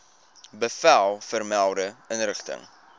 bevel vermelde inrigting